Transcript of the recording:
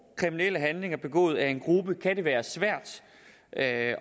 kriminelle handlinger begået af en gruppe kan det være svært at